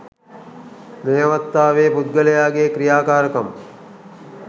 මේ අවස්ථාවේ පුද්ගලයාගේ ක්‍රියාකාරකම්